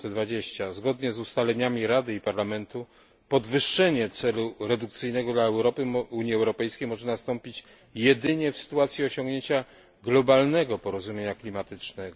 2020. Zgodnie z ustaleniami Rady i Parlamentu podwyższenie celu redukcyjnego dla Unii Europejskiej może nastąpić jedynie w sytuacji osiągnięcia globalnego porozumienia klimatycznego.